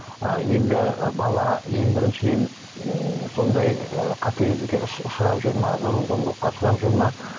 ыыы енді бала ең біріншіден м сондай ы қатыгездікке ұшырап жүр ме зорлық зомбылыққа ұшырап жүр ме